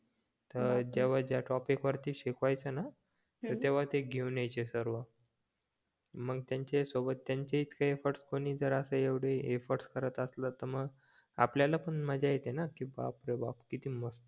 तर जेव्हा ज्या टॉपिक वरती शिकवायचे ना तेव्हा ते घेऊन यायचे सर्व मग त्यांच्याही सोबत त्यांचे इतके एफर्ट्स कोणी जर एव्हडं एवढे एफर्ट्स करत असल तर मग आपल्याला पण मजा येते ना की बाप रे बाप कीती मस्त